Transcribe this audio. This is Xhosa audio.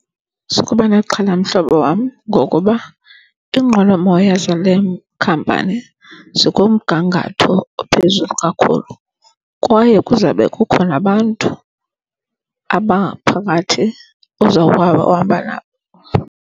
Sukuba nexhala, mhlobo wam, ngokuba iinqwelomoya zale khampani zikumgangatho ophezulu kakhulu kwaye kuzawube kukhona abantu abaphakathi ozawuhamba nabo.